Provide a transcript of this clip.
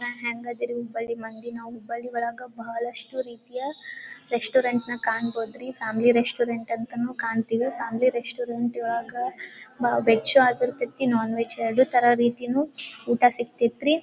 ಅಹ್ ಹೆಂಗದೀರಿ ಹುಬ್ಬಳ್ಳಿ ಮಂದಿ ನಾವು ಹುಬ್ಬಳ್ಳಿ ಒಳಗ ಬಹಳಷ್ಟು ರೀತಿಯ ರೆಶ್ಟೋರಂಟ್ ನ ಕಾಣ್ಬೋದ್ರಿ ಫ್ಯಾಮಿಲಿ ರೆಶ್ಟೋರಂಟ್ ಅಂತನು ಕಾಣ್ತೀವಿ ಫ್ಯಾಮಿಲಿ ರೆಶ್ಟೋರಂಟ್ ಇವಾಗ ವೆಜ್ ಆಗಿರ್ತಿತಿ ನಾನ್ ವೆಜ್ ಎರಡು ಥರ ರೀತಿನು ಊಟ ಸಿಗ್ತೈತ್ರಿ.